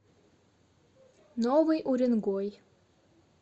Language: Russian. новый уренгой